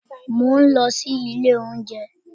Mò ń lọ sí ilé-oúnjẹ́